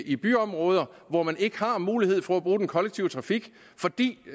i byområder hvor man ikke har mulighed for at bruge den kollektive trafik fordi